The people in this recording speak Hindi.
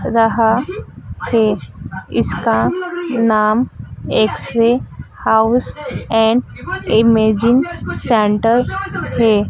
रहा है इसका नाम X ray house and imaging centre है।